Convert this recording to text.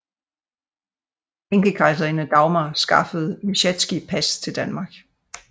Enkekejserinde Dagmar skaffede Myschetsky pas til Danmark